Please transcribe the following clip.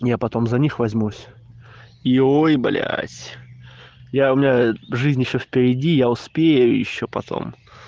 я потом за них возьмусь и ой блять я у меня жизнь ещё впереди я успею ещё потом